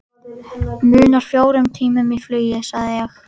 Munar fjórum tímum í flugi sagði ég.